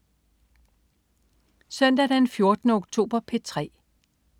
Søndag den 14. oktober - P3: